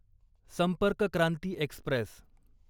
संपर्क क्रांती एक्स्प्रेस